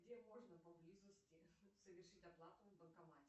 где можно поблизости совершить оплату в банкомате